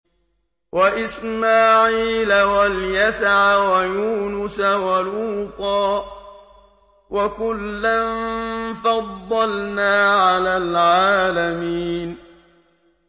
وَإِسْمَاعِيلَ وَالْيَسَعَ وَيُونُسَ وَلُوطًا ۚ وَكُلًّا فَضَّلْنَا عَلَى الْعَالَمِينَ